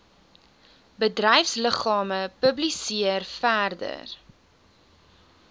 bedryfsliggame publiseer verder